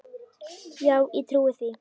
Já ég trúi því.